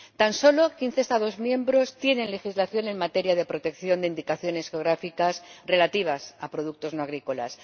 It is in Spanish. Tan solo quince Estados miembros cuentan con legislación en materia de protección de indicaciones geográficas relativas a productos no agrícolas.